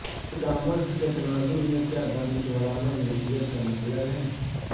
ای commerce کے تناظر میں کیا دانشورانہ ملکیت کا مطلب ہے